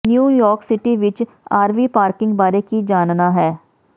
New York city ਵਿਚ RV parking ਬਾਰੇ ਕੀ ਜਾਣਨਾ ਹੈ